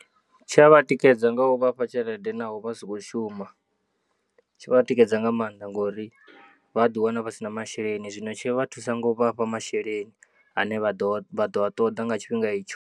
Tshi a vha tikedza nga u vhafha tshelede naho vha sa khou shuma. Tshi vha tikedza nga maanḓa ngori vha ḓiwana vha si na masheleni zwino tshi vha thusa nga u vha fha masheleni ane vha ḓo, vha ḓo a ṱoḓa nga tshifhinga itsho.